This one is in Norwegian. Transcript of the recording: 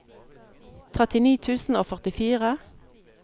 trettini tusen og førtifire